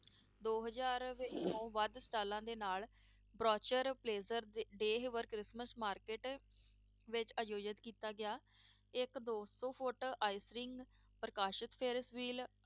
ਦੋ ਹਜ਼ਾਰ ਤੋਂ ਵੱਧ ਸਾਲਾਂ ਦੇ ਨਾਲ ਕ੍ਰਿਸਮਸ market ਵਿੱਚ ਆਯੋਜਿਤ ਕੀਤਾ ਗਿਆ, ਇੱਕ ਦੋ ਸੌ ਫੁੱਟ ਪ੍ਰਕਾਸ਼ਿਤ